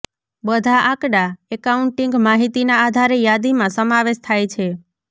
બધા આંકડા એકાઉન્ટિંગ માહિતીના આધારે યાદીમાં સમાવેશ થાય છે